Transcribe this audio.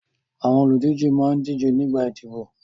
Àwọn olùdíje máa ń díje nígbà ìdìbò.